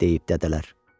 deyib dədələr.